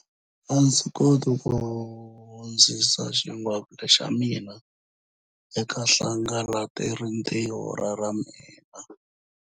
A ndzi koti ku hundzisa xingwavila xa mina eka hlakalarintiho ra ra mina.